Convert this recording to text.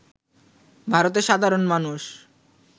ভারতের সাধারণ মানুষ